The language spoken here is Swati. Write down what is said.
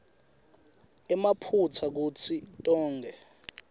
emaphutsa kuto tonkhe